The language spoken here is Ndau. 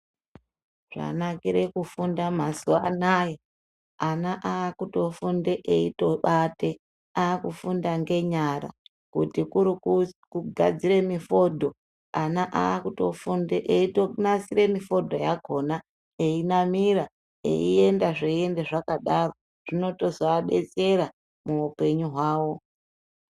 Chanakire kufunda mazuwa anaya, ana aakutofunda eitobate, aakufunda ngenyara, kuti kuri kugadzire mifodho, ana aakutofunda eitonasire mifodho yakhona, einamira, eienda zveinda zvakadaro, zvinotozo adetsera muupenyu hwawo.